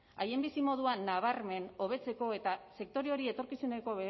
haien bizimoduan nabarmen hobetzeko eta sektore hori etorkizuneko